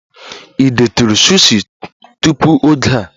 Ị detụrụ sushi tupu oge a?